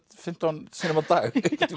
fimmtán sinnum á dag